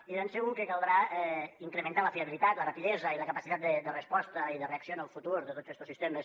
i de ben segur que caldrà incrementar la fiabilitat la rapidesa i la capacitat de resposta i de reacció en el futur de tots estos sistemes